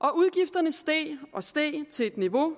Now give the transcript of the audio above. og udgifterne steg og steg til et niveau